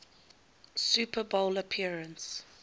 super bowl appearance